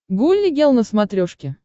гулли гел на смотрешке